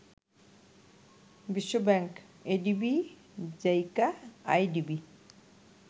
বিশ্বব্যাংক, ADB, JICA, IDB